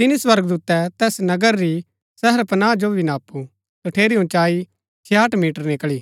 तिनी स्वर्गदूतै तैस नगर री शहरपनाह जो भी नापु तठेरी उँचाई 66 मीटर निकळी